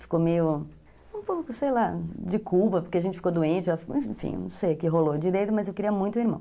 Ficou meio, sei lá, de culpa, porque a gente ficou doente, enfim, não sei o que rolou direito, mas eu queria muito um irmão.